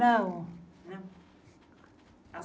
Não.